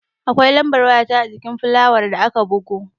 Akwai lambar waya ta ajikin fulayar da aka bugo